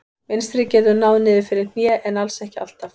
Mynstrið getur náð niður fyrir hné en alls ekki alltaf.